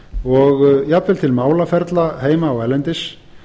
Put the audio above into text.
og jafnvel til málaferla heima og erlendis